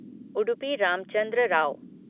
Udupi Ramachandra Rao